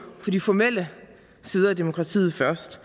de formelle sider af demokratiet først